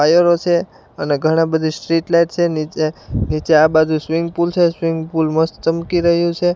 આયરો છે અને ઘણા બધી સ્ટ્રીટ લાઈટ છે નીચે આ બાજુ સ્વિમિંગ પૂલ છે સ્વિમિંગ પૂલ મસ્ત ચમકી રહ્યું છે.